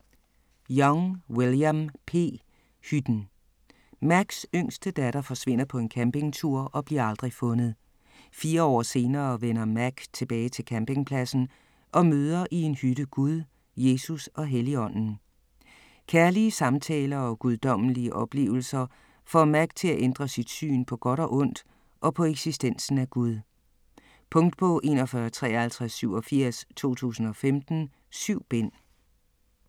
Young, William P.: Hytten Macks yngste datter forsvinder på en campingtur og bliver aldrig fundet. Fire år senere vender Mack tilbage til campingpladsen og møder i en hytte Gud, Jesus og Helligånden. Kærlige samtaler og guddommelige oplevelser får Mack til at ændre sit syn på godt og ondt og på eksistensen af Gud. Punktbog 415387 2015. 7 bind.